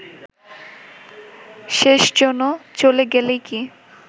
শেষজনও চলে গেলেই কি